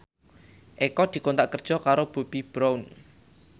Eko dikontrak kerja karo Bobbi Brown